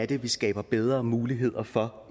det er vi skaber bedre muligheder for